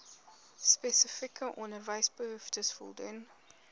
spesifieke onderwysbehoeftes voldoen